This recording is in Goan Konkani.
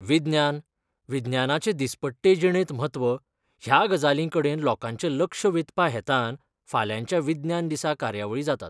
विज्ञान, विज्ञानाचें दीसपट्टे जिणेंत म्हत्व ह्या गजालीं कडेन लोकांचें लक्ष वेधपा हेतान फाल्यांच्या विज्ञान दिसा कार्यावळी जातात.